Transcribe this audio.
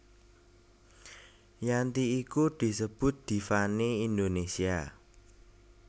Yanti iku disebut diva né Indonesia